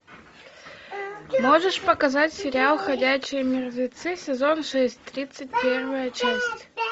можешь показать сериал ходячие мертвецы сезон шесть тридцать первая часть